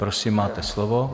Prosím, máte slovo.